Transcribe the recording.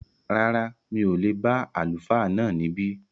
Rárá, mi ò lè bá Àlùfáà náà níbí